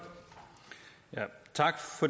er